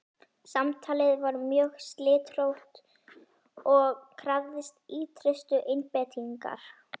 Samtalið var mjög slitrótt og krafðist ýtrustu einbeitingar.